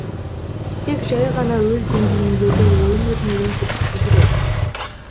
тек жәй ғана өз деңгейіндегі ойын өрнегін көрсету керек